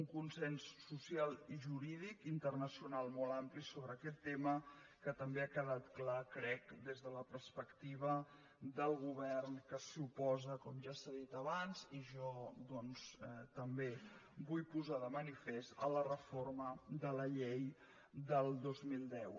un consens social i jurídic internacional molt ampli sobre aquest tema que també ha quedat clar crec des de la perspectiva del govern que s’hi oposa com ja s’ha dit abans i jo doncs també ho vull posar de manifest a la reforma de la llei del dos mil deu